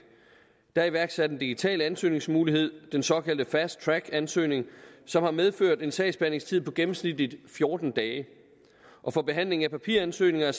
der er iværksat en digital ansøgningsmulighed den såkaldte fast track ansøgning som har medført en sagsbehandlingstid på gennemsnitligt fjorten dage og for behandling af papiransøgninger